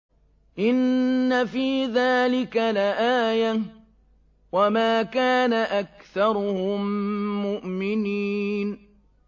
إِنَّ فِي ذَٰلِكَ لَآيَةً ۖ وَمَا كَانَ أَكْثَرُهُم مُّؤْمِنِينَ